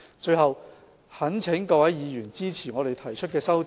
最後，我懇請各位議員支持政府提出的修訂。